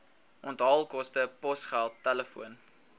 onthaalkoste posgeld telefoon